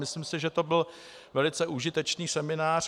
Myslím si, že to byl velice užitečný seminář.